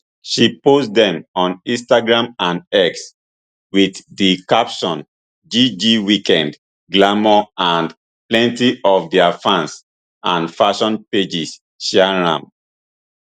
she post dem on instagram and x wit di caption gg weekend glamour and plenty of dia fans and fashion pages share am